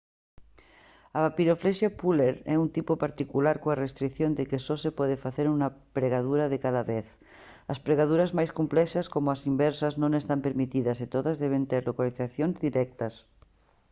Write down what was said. a papiroflexia pureland é un tipo particular coa restrición de que só se pode facer unha pregadura de cada vez as pregaduras máis complexas como as inversas non están permitidas e todas deben ter localizacións directas